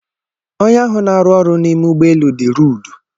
Onye ahụ na-arụ ọrụ n'ime ụgbọelu dị ruudu.